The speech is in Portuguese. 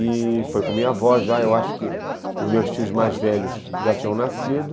E foi com minha avó já, eu acho que os meus tios mais velhos já tinham nascido.